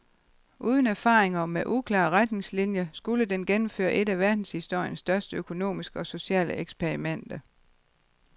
Uden erfaringer og med uklare retningslinjer skulle den gennemføre et af verdenshistoriens største økonomiske og sociale eksperimenter.